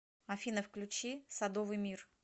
афина включи садовый мир